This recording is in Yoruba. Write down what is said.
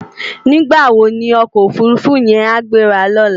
Nigbá wó ni òkò ófúrúfú yèn á gbérá lòlá?